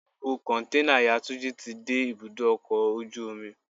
Gbogbo Kọ̀ǹténà ìyá Túnjí ti dé ibùdó ọkọ̀ ojú omi.